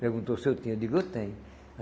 Perguntou se eu tinha, eu digo eu tenho.